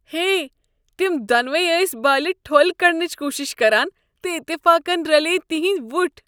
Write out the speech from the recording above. ہے! تم دۄنوے ٲسۍ بالہِ ٹھۄل كڈٕنچہِ كوٗشِش كران تہٕ اتفاقن رلییہ تِہندۍ وٕٹھ۔